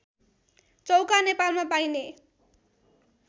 चौका नेपालमा पाइने